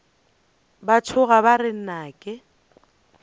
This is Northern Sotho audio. ba tšhoga ba re nnake